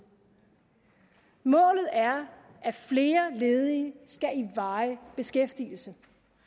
målet er at flere ledige skal i varig beskæftigelse